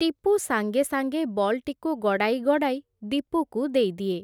ଟିପୁ ସାଙ୍ଗେ ସାଙ୍ଗେ ବଲ୍‌ଟିକୁ ଗଡ଼ାଇ ଗଡ଼ାଇ ଦୀପୁକୁ ଦେଇଦିଏ ।